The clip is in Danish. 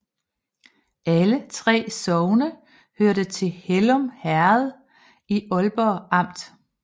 Alle 3 sogne hørte til Hellum Herred i Ålborg Amt